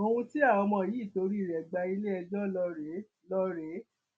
ohun tí àwọn ọmọ yìí torí rẹ gba iléẹjọ ló rèé ló rèé